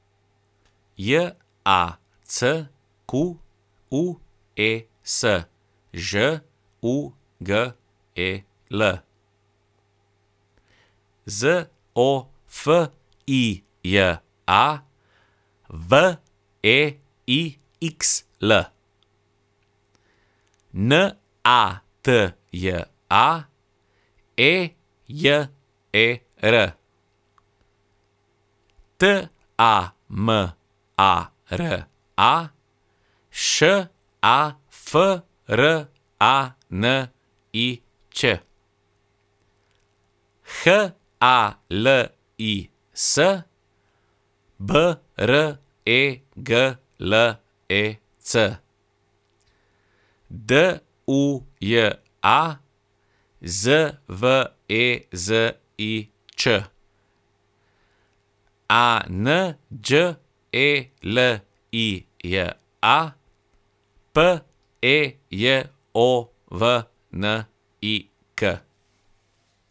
J A C Q U E S, Ž U G E L; Z O F I J A, W E I X L; N A T J A, E J E R; T A M A R A, Š A F R A N I Ć; H A L I S, B R E G L E C; D U J A, Z V E Z I Č; A N Đ E L I J A, P E J O V N I K.